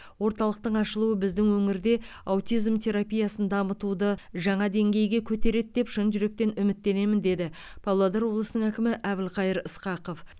орталықтың ашылуы біздің өңірде аутизм терапиясын дамытуды жаңа деңгейге көтереді деп шын жүректен үміттенемін деді павлодар облысының әкімі әбілқайыр сқақов